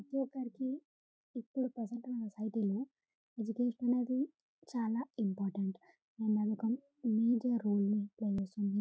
ప్రతి ఒక్కరికి ఇప్పుడు ప్రెసెంట్ ఉన్న సొసైటీ లో ఎడ్యుకేషన్ అనేది చాల ఇంపార్టెంట్ నేను అనుకున్న మేజర్ రోల్ ప్లై చేస్తున్నది --